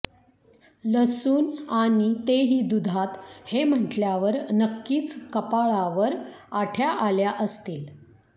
लसूण आणि ते ही दुधात हे म्हटल्यावर नक्कीच कपाळावर आठ्या आल्या असतील